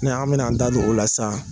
Ne an bɛna an da don o la sisan